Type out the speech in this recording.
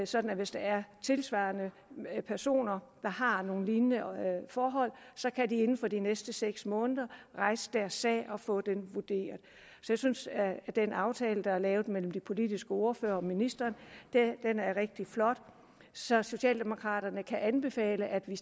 sådan at hvis der er tilsvarende personer der har nogle lignende forhold så kan de inden for de næste seks måneder rejse deres sag og få den vurderet jeg synes at den aftale der er lavet mellem de politiske ordførere og ministeren er rigtig flot så socialdemokraterne kan anbefale at man